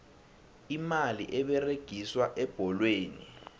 imali eberegiswa ebholweni